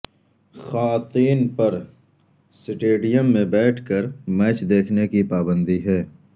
خواتین پر سٹیڈیم میں بیٹھ کر میچ دیکھنے کی پابندی ہے